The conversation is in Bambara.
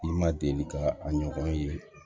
I ma deli ka a ɲɔgɔn ye